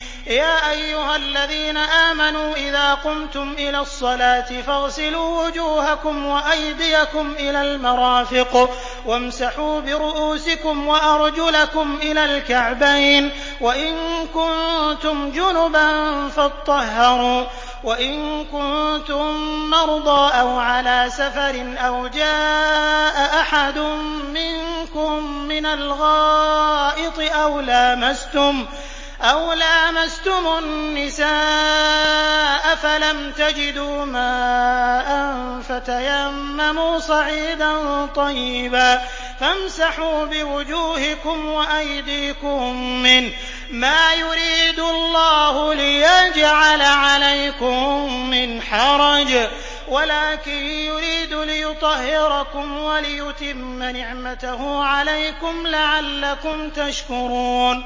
يَا أَيُّهَا الَّذِينَ آمَنُوا إِذَا قُمْتُمْ إِلَى الصَّلَاةِ فَاغْسِلُوا وُجُوهَكُمْ وَأَيْدِيَكُمْ إِلَى الْمَرَافِقِ وَامْسَحُوا بِرُءُوسِكُمْ وَأَرْجُلَكُمْ إِلَى الْكَعْبَيْنِ ۚ وَإِن كُنتُمْ جُنُبًا فَاطَّهَّرُوا ۚ وَإِن كُنتُم مَّرْضَىٰ أَوْ عَلَىٰ سَفَرٍ أَوْ جَاءَ أَحَدٌ مِّنكُم مِّنَ الْغَائِطِ أَوْ لَامَسْتُمُ النِّسَاءَ فَلَمْ تَجِدُوا مَاءً فَتَيَمَّمُوا صَعِيدًا طَيِّبًا فَامْسَحُوا بِوُجُوهِكُمْ وَأَيْدِيكُم مِّنْهُ ۚ مَا يُرِيدُ اللَّهُ لِيَجْعَلَ عَلَيْكُم مِّنْ حَرَجٍ وَلَٰكِن يُرِيدُ لِيُطَهِّرَكُمْ وَلِيُتِمَّ نِعْمَتَهُ عَلَيْكُمْ لَعَلَّكُمْ تَشْكُرُونَ